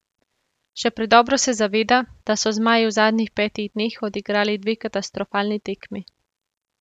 Še predobro se zaveda, da so zmaji v zadnjih petih dneh odigrali dve katastrofalni tekmi.